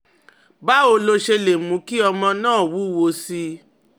Báwo lo ṣe lè mú kí ọmọ náà wúwo sí i?